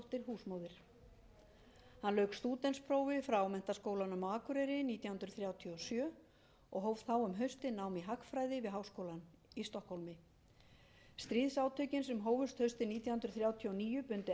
hann lauk stúdentsprófi frá menntaskólanum á akureyri nítján hundruð þrjátíu og sjö og hóf þá um haustið nám í hagfræði við háskólann í stokkhólmi stríðsátökin sem hófust haustið nítján hundruð þrjátíu og níu bundu enda á frekari nám